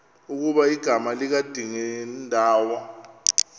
ukuba igama likadingindawo